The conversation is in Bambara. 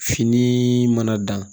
Fini mana dan